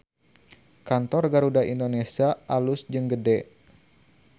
Kantor Garuda Indonesia alus jeung gede